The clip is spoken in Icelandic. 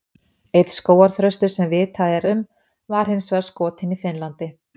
elsti skógarþröstur sem vitað er um var hins vegar skotinn í finnlandi